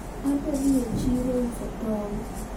adwa dhi e chiro uso tong